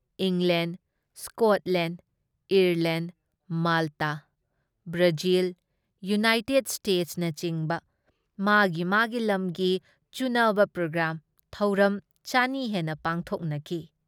England, Scotland, Ireland, Malta, Brazil, United ꯁ꯭ꯇꯦꯠꯁꯅꯆꯤꯡꯕ ꯃꯥꯒꯤ ꯃꯥꯒꯤ ꯂꯝꯒꯤ ꯆꯨꯅꯕ ꯄ꯭ꯔꯣꯒ꯭ꯔꯥꯝ ꯊꯧꯔꯝ ꯆꯅꯤ ꯍꯦꯟꯅ ꯄꯥꯡꯈꯣꯛꯅꯈꯤ ꯫